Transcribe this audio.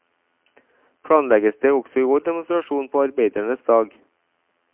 Planlegges det også i år demonstrasjon på arbeidernes dag.